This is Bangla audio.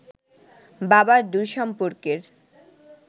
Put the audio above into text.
বাবার দূর সম্পর্কের